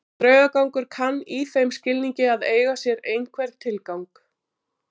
Draugagangur kann í þeim skilningi að eiga sér einhvern tilgang.